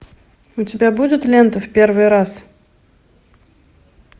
у тебя будет лента в первый раз